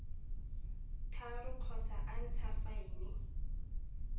tharo kgotsa a ntsha faene